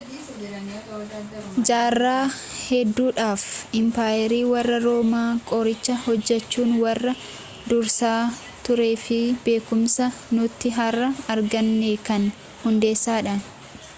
jaarraa hedduudhaaf impaayerri warrra roomaa qoricha hojjechuun warra dursaa tureefibeekumsa nuti harra arganne kan hundeessedha